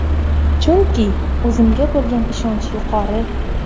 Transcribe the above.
Chunki o‘zimga bo‘lgan ishonch yuqori!